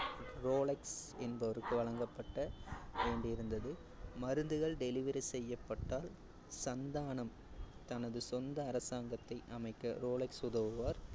Rolex என்பவருக்கு வழங்கப்பட்ட வேண்டியிருந்தது. மருந்துகள் delivery செய்யப்பட்டால், சந்தானம் தனது சொந்த அரசாங்கத்தை அமைக்க ரோலக்ஸ் உதவுவார்